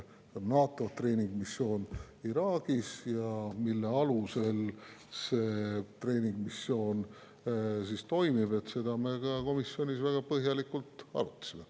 On NATO treeningmissioon Iraagis ja mille alusel see treeningmissioon toimib, seda me komisjonis väga põhjalikult arutasime.